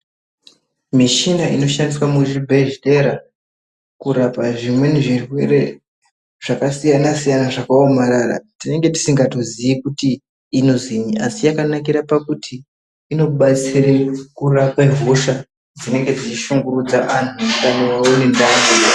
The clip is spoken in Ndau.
Mishina inoshandiswa muzvibhedhlera kurapa zvimweni zvirwere zvakasiyana siyana zvakaomarara tinenge tisingatozii kuti inozwii asi yakanakire pakuti inobatsire kurape hosha dzinenge dzeishungurudza antu muutano hwavo.